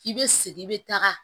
I bɛ segin i bɛ taga